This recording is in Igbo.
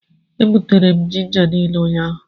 E gbutere ginja niile ụnyahụ.